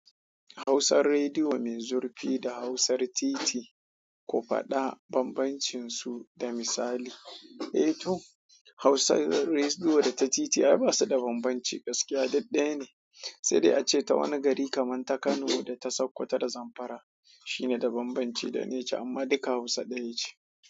Hausar Rediyo mai zurfi da Hausar Titiri ko faɗa bambancinsu da misali. Eh to, Hausar Rediyo da ta titi ai ba su da bambanci, gaskiya dai ɗaya ne. Sai dai ace ta wani gari kamar ta Kano da ta Sokoto da Zamfara shine da bambanci da nace amma duka Hausa ɗaya ce.